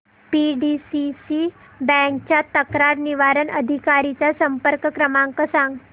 PDCC bank च्या तक्रार निवारण अधिकारी चा संपर्क क्रमांक सांग